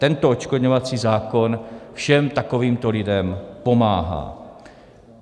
Tento odškodňovací zákon všem takovýmto lidem pomáhá.